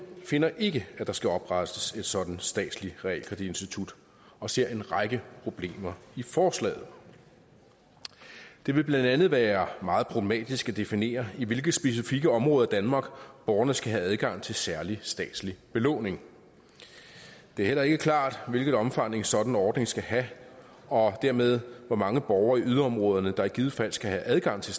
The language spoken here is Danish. finder ikke at der skal oprettes et sådant statsligt realkreditinstitut og ser en række problemer i forslaget det vil blandt andet være meget problematisk at definere i hvilke specifikke områder af danmark borgerne skal have adgang til særlig statslig belåning det er heller ikke klart hvilket omfang en sådan ordning skal have og dermed hvor mange borgere i yderområderne der i givet fald skal have adgang til